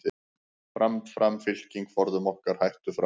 Fram, fram fylking, forðum okkur hættu frá.